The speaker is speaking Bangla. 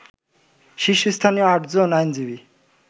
শীর্ষস্থানীয় আটজন আইনজীবী